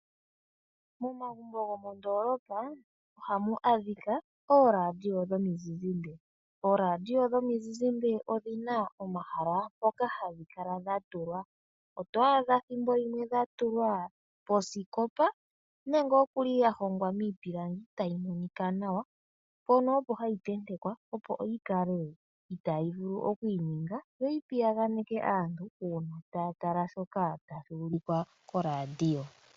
Momagumbo gomondoolopa ohamu adhika ooradio dhomizizimba. Ooradio dhomizizimba odhi na omahala mpoka hadhi kala dha tulwa. Oto adha thimbo limwe dha tulwa posikopa ya hongwa miipilangi tayi monika nawa, mpono opo hayi tentekwa, opo yi kale itaayi vulu oku inyenga yo yi piyaganeke aantu uuna taya tala shoka tashi ulikwa koradio yomuzizimba.